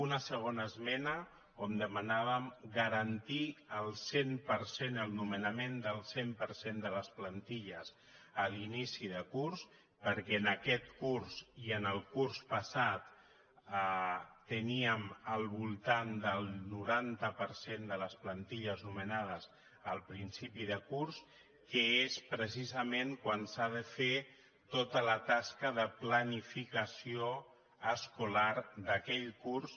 una segona esmena on demanàvem garantir al cent per cent el nomenament del cent per cent de les planti·lles a l’inici de curs perquè en aquest curs i en el curs passat teníem al voltant del noranta per cent de les plan·tilles nomenades al principi de curs que és precisa·ment quan s’ha de fer tota la tasca de planificació es·colar d’aquell curs